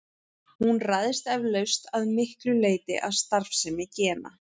Hún ræðst eflaust að miklu leyti af starfsemi gena.